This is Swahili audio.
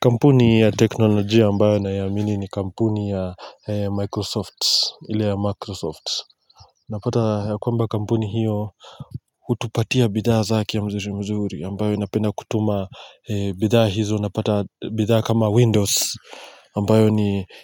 Kampuni ya teknolojia ambayo naiamini ni kampuni ya Microsoft ile ya Microsoft Napata ya kwamba kampuni hiyo hutupatia bidhaa zake mzuri mzuri ambayo inapenda kutuma bidhaa hizo napata bidhaa kama Windows ambayo